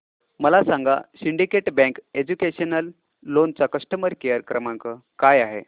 मला सांगा Syndicate Bank educational loan चा कस्टमर केअर क्रमांक काय आहे